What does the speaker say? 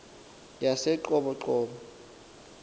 yaseqoboqobo